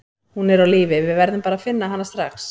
Hún er á lífi, við verðum bara að finna hana strax.